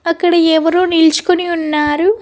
అక్కడ ఎవరో నిల్చుకుని ఉన్నారు.